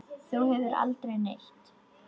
Þú ferð aldrei neitt.